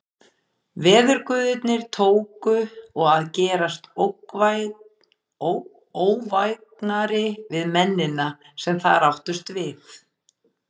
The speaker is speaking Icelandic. Veðurguðirnir tóku og að gerast óvægnari við mennina, sem þar áttust við.